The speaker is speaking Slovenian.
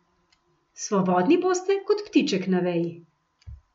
Svobodni boste kot ptiček na veji.